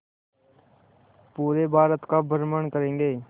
पूरे भारत का भ्रमण करेंगे